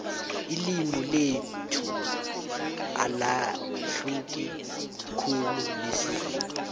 ililmi lethu alahluki khulu nesizulu